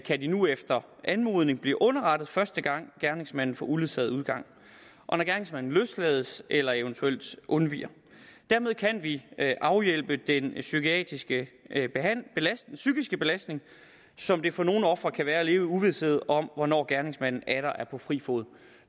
de nu efter anmodning blive underrettet første gang gerningsmanden får uledsaget udgang og når gerningsmanden løslades eller eventuelt undviger dermed kan vi afhjælpe den psykiske psykiske belastning som det for nogle ofre kan være at leve i uvished om hvornår gerningsmanden atter er på fri fod